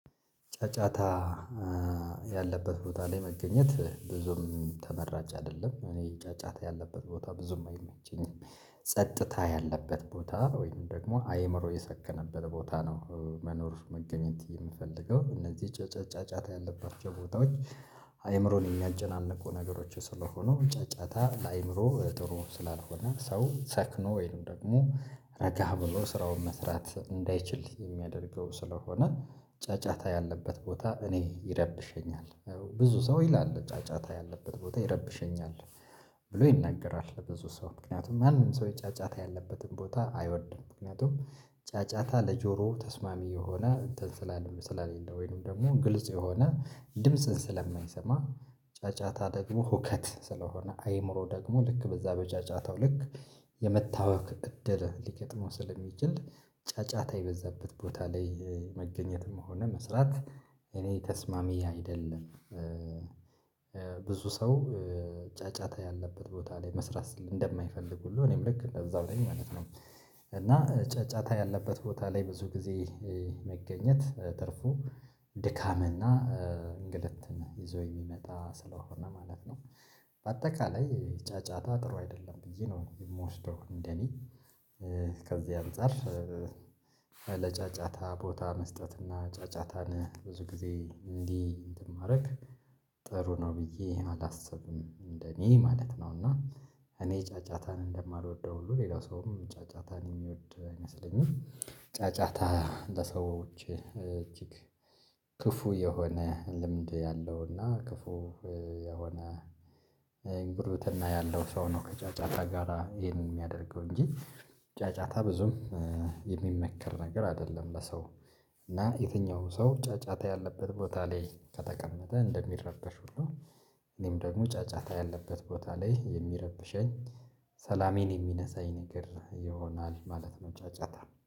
ጫጫታ ያለበት ቦታ ላይ መገኘት ብዙም ተመራጭ አይደለም እኔ ጫጫታ ያለበት ቦታ ብዙም አይመቸኝም። ጸጥታ ያለበት ቦታ ወይም ደግሞ አይምሮ የሰከነበት ቦታ ነው። መኖር መገኘት የምፈልገው እነዚህ ጫጫታ ያለባቸው ቦታዎች። አይምሮን የሚያጨናንቁ ነገሮች ስለሆኑ ጫጫታ ለአይምሮ ጥሩ ስላልሆነ ሰው ሰክኖ ወይንም ደግሞ ረጋ ብሎ ስራውን መስራት እንዳይችል የሚያደርገው ስለሆነ ጫጫታ ያለበት ቦታ እኔ ይረብሸኛል። ብዙ ሰው ይላል ጫጫታ ያለበት ቦታ ይረብሸኛል። ብሎ ይናገራል ለብዙ ሰው ምክንያቱም ማንም ሰው ጫጫታ ያለበትን ቦታ አይወድም። ምክንያቱም ጫጫታ ለጆሮ ተስማሚ የሆነ እንትን ስለሌም ስለሌለ ወይንም ደግሞ ግልጽ የሆነ ድምጽን ስለማይሰማ። ጫጫታ ደግሞ ሁከት ስለሆነ አይምሮ ደግሞ ልክ በዛ በጫጫታው ልክ የመታወክ እድል ሊገጥመው ስለሚችል። ጫጫታ የበዛበት ቦታ ላይ መገኘትም ሆነ መስራት እኔ ተስማሚ አይደለም። ብዙ ሰው ጫጫታ ያለበት ቦታ ላይ መስራት እንደማይፈልግ ሁሉ እኔም ልክ እንደዛው ነኝ ማለት ነው። እና ጫጫታ ያለበት ቦታ ላይ ብዙ ጊዜ መገኘት ትርፉ ድካምና እንግልት ይዞ የሚመጣ ስለሆነ ማለት ነው። አጠቃላይ ጫጫታ ጥሩ አይደለም ብዬ ነው የምወስደው እንደኔ። ከዚያ አንፃር ለጫጫታ ቦታ መስጠት እና ጫጫታን ብዙ ጊዜ እንዲ እንተን ማረግ ጥሩ ነው ብየ አላስብም። እንደኔ ማለት ነውና እኔ ጫጫታን እንደማልወደው ሁሉ ሌላ ሰውም ጫጫታን የሚወድ አይመስለኝም። ጫጫታ ለሰው ልጂ እጂግ ክፉ የሆነ ልምድ አለውና ክፉ የሆነ ጉርብትና ያለው ሰው ነው ከጫጫታ ጋራ ይሄንን የሚያደርገው እንጂ ጫጫታ ብዙም የሚመከር ነገር አደለም። ለሰው እና የትኛው ሰው ጫጫታ ያለበት ቦታ ላይ ከተቀመጠ እንደሚረበሽ ሁሉ እኔም ደግሞ ጫጫታ ያለበት ቦታ ላይ የሚረብሸኝ ሰላሜን የሚነሳኝ ነገር ይሆናል ማለት ነው። ጫጫታ